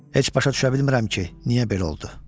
Heç başa düşə bilmirəm ki, niyə belə oldu.